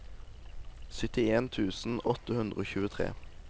syttien tusen åtte hundre og tjuetre